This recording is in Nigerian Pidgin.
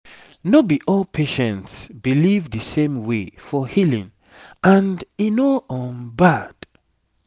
no be all patients believe the same way for healing and e no um bad